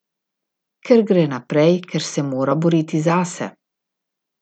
Ker gre naprej, ker se mora boriti zase.